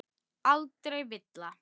Aldrei villa.